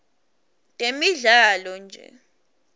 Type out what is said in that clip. temidlalo nje